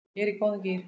Ég er í góðum gír.